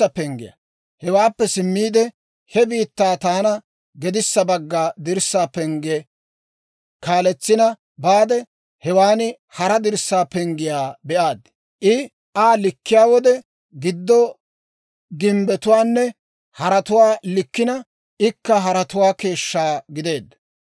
Hewaappe simmiide, he bitanii taana gedissa bagga dirssaa pengge kaaletsina baade, hewan hara dirssaa penggiyaa be'aad. I Aa likkiyaa wode, gido gimbbetuwaanne haratuwaa likkina ikka haratuwaa keeshshaa gideedda.